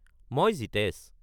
মই জীতেশ।